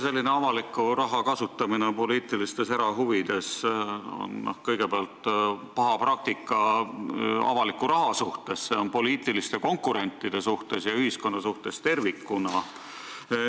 Selline avaliku raha kasutamine poliitilistes erahuvides on kõigepealt paha praktika avaliku raha kasutamise mõttes, kuid ka poliitiliste konkurentide ja ühiskonna mõttes tervikuna.